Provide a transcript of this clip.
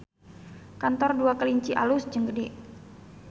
Kantor Dua Kelinci alus jeung gede